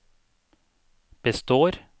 består